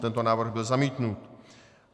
Tento návrh byl zamítnut.